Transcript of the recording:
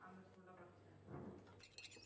அந்த school ல படிச்சேன்